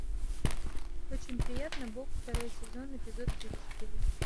очень приятно бог второй сезон эпизод тридцать четыре